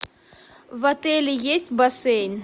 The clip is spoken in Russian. в отеле есть бассейн